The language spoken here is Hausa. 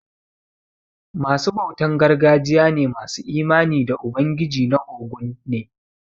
Ma su bautan gargajiya ne masu imani da ubangiji na óguñ ne.